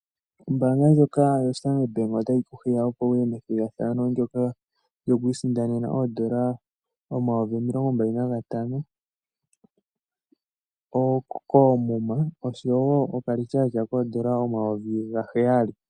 Ombaanga ndjoka yoStandard Bank otayi ku hiya, opo wu ye methigathano ndyoka lyoku isindanena N$ 25 000 koomuma osho wo okalityaatyaa koodola omayovi gaheyali.